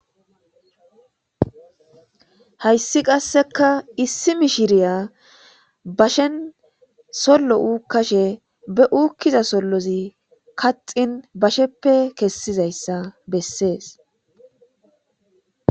hayssi qasseka issi mishiriya bashen sollo uukkashe be uukkiza sollozi kaxin basheppe kessizayssa bessees